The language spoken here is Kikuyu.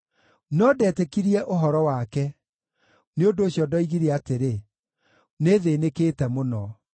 No ndetĩkirie ũhoro wake; nĩ ũndũ ũcio ndoigire atĩrĩ, “Nĩthĩĩnĩkĩte mũno.”